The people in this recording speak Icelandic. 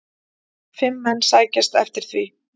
Fimm menn sækjast eftir því.